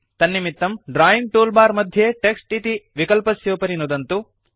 तन्निमित्तं drawing toolbar मध्ये text इति विकलस्योपरि नुदन्तु